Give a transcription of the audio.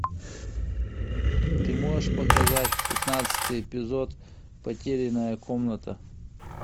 ты можешь показать пятнадцатый эпизод потерянная комната